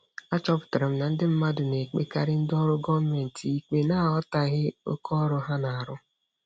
Achọpụtara m na ndị mmadụ na-ekpekarị ndị ọrụ gọọmentị ikpe n'aghọtaghị oke ọrụ ha na-arụ.